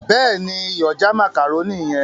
béèni iyọ̀ já macaroni yen.